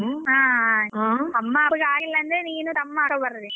ಹ ಆಯ್ತು ಅಮ್ಮ ಅಪ್ಪಗೆ ಆಗಿಲ್ಲ ಅಂದ್ರೆ ನೀನೂ ತಮ್ಮ ಅಕ್ಕ ಬರ್ರಿ.